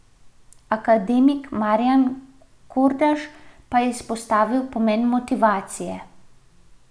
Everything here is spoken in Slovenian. Akademik Marjan Kordaš pa je izpostavil pomen motivacije.